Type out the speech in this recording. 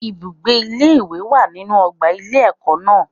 Ibùgbé ilé ìwé wà nínu ọgbà ilé ẹ̀kọ́ náà.